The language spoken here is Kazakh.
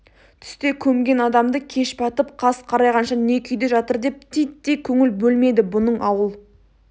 түсте көмген адамды кеш батып қас қарайғанша не күйде жатыр деп титтей көңіл бөлмеді бұның ауыл